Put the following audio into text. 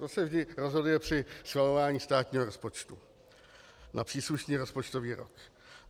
To se vždy rozhoduje při schvalování státního rozpočtu na příslušný rozpočtový rok.